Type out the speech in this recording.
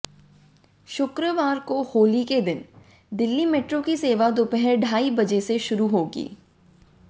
शुक्रवार को होली के दिन दिल्ली मेट्रो की सेवा दोपहर ढाई बजे से शुरू होगी